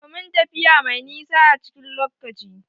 Domin tafiya mai nisa a cikin lockaci